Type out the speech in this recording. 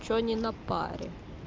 почему не на паре